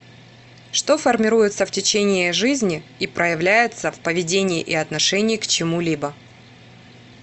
что формируется в течение жизни и проявляется в поведении и отношении к чему либо